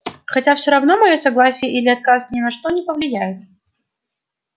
хотя все равно моё согласие или отказ ни на что не повлияет